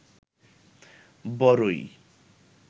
বরই